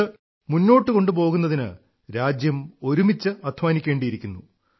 ഇത് മുന്നോട്ടു കൊണ്ടുപോകുന്നതിന് രാജ്യം ഒരുമിച്ച് അധ്വാനിക്കേണ്ടിയിരിക്കുന്നു